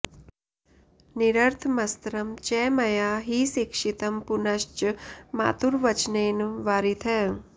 निरर्थमस्त्रं च मया हि शिक्षितं पुनश्च मातुर्वचनेन वारितः